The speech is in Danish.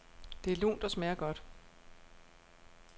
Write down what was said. Det er lunt og smager godt.